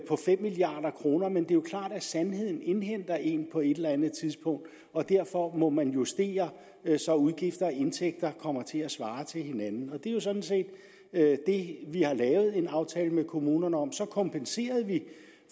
jo klart at sandheden indhenter en på et eller andet tidspunkt og derfor må man justere så udgifter og indtægter kommer til at svare til hinanden og det er jo sådan set det vi har lavet en aftale med kommunerne om så kompenserede vi